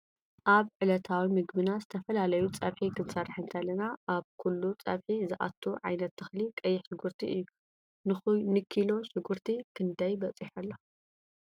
ኣብ ዕለታዊ ምግቢና ዝተፈላለዩ ፀብሒ ክንሰርሕ እንተለና ኣብ ኩሉ ፀብሒ ዘኣቱ ዓይነት ተክሊ ቀይሕ ሽኩርቲ እዩ ::ንኪሎ ሽጉርቲ ክደይ በፂሑ ኣሎ ?